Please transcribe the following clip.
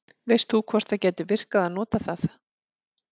veist þú hvort það gæti virkað að nota það